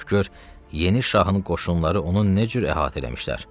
Bax gör, yeni şahın qoşunları onu ne cür əhatə eləmişlər.